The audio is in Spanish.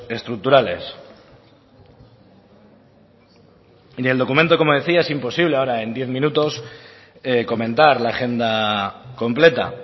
estructurales y en el documento como decía es imposible ahora en diez minutos comentar la agenda completa